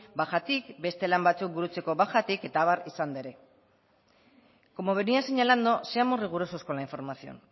bajatik beste lan batzuk burutzeko bajatik eta abar izanda ere como venia señalando seamos rigurosos con la información